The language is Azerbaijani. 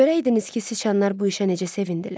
Görəydiniz ki, siçanlar bu işə necə sevindilər.